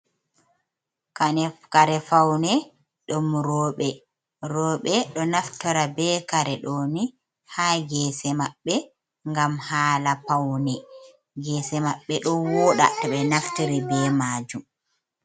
Kare faune ɗum roɓɓe ɓeɗo naftira be kare ɗoni ha gese maɓɓe gam hala paune gese maɓɓe ɗo woɗa to ɓe naftari be majum.